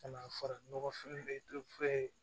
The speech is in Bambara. Ka na fara nɔgɔ feere